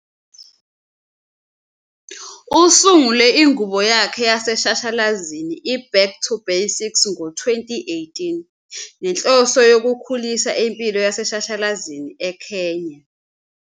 Usungule ingubo yakhe yaseshashalazini i- "Back to Basics" ngo-2018,ngenhloso yokukhulisa impilo yaseshashalazini eKenya.